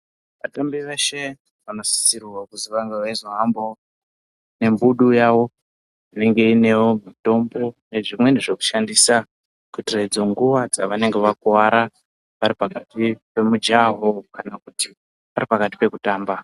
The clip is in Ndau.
Vatambi veshe vanosisirwe kuti vange veizohambawo nembudu yawo inenge iinewo mitombo nezvimweni zvekushandisa kuitire idzo nguwa dzavanenge vakuwara varipakati pemujaho kana kuti varipakati pekutamba.